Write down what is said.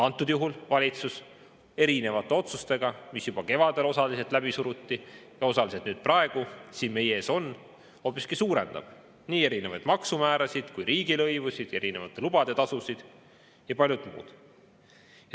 Antud juhul valitsus erinevate otsustega, mis juba kevadel osaliselt läbi suruti ja osaliselt praegu siin meie ees on, hoopiski suurendab nii maksumäärasid kui ka riigilõivusid, erinevate lubade tasusid ja paljut muud.